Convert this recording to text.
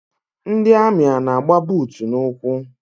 Ndị amị ana-agba buutu n'ụkwụ?